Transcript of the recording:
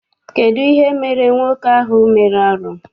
Kedụ ihe emere nwoke ahụ mere arụ?